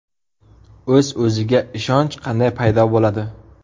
O‘z-o‘ziga ishonch qanday paydo bo‘ladi?.